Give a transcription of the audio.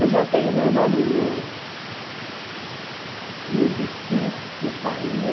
Eu já tenho meu nome no no desquite que saiu.